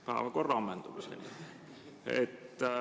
Päevakorra ammendumiseni.